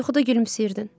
Yuxuda gülümsəyirdin.